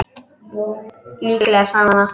Líklega sagði hún það.